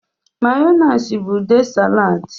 Mayonezi bụ ude salad.